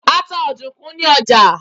A ta ọ̀dùnkún ní ọjà.